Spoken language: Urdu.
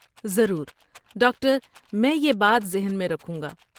ضرور، ڈاکٹر! میں یہ بات ذہن میں رکھوں گا۔